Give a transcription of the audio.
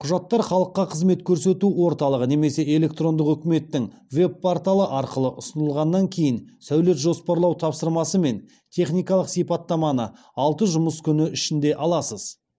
құжаттар халыққа қызмет көрсету орталығы немесе электрондық үкіметтің веб порталы арқылы ұсынылғаннан кейін сәулет жоспарлау тапсырмасы мен техникалық сипаттаманы алты жұмыс күн ішінде аласыз